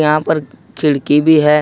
यहां पर खिड़की भी है।